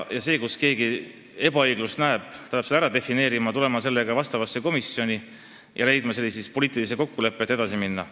Ja kui keegi oma arvates ebaõiglust näeb, siis ta peab selle ära defineerima, tulema vastavasse komisjoni ja jõudma poliitilise kokkuleppeni edasi minna.